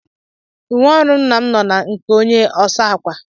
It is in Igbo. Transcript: Uwe ọrụ nna m no na nke onye ọsaakwa